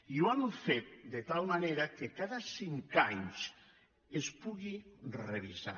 i ho hem fet de tal manera que cada cinc anys es pugui revisar